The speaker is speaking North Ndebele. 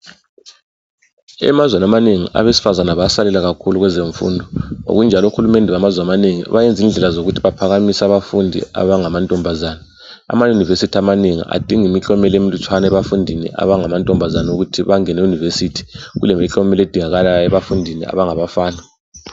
Emazweni amanengi abesifazane basalela kakhulu kwezemfundo ngokunjalo ohulumende bamazwe amanengi bayenza indlela zokuthi baphakamise abafundi abangamantombazana. Ama university amanengi adinga imiklomelo emilutshwane ebafundini abangamantombazana ukuthi bangene kuniversity kulemiklomelo edingakalayo ebafundini abangabafana